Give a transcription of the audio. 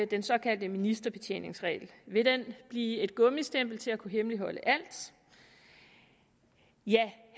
den såkaldte ministerbetjeningsregel vil den blive et gummistempel til at kunne hemmeligholde alt ja